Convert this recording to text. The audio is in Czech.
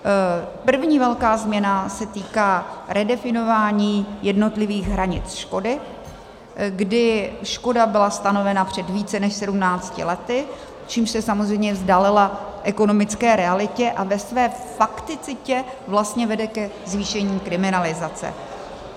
První velká změna se týká redefinování jednotlivých hranic škody, kdy škoda byla stanovena před více než 17 lety, čímž se samozřejmě vzdálila ekonomické realitě a ve své fakticitě vlastně vede ke zvýšení kriminalizace.